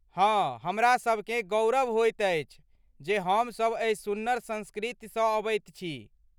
हँ, हमरासभकेँ गौरव होइत अछि जे हमसभ एहि सुन्नर संस्कृतिसँ अबैत छी।